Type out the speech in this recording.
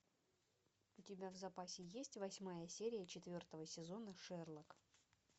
у тебя в запасе есть восьмая серия четвертого сезона шерлок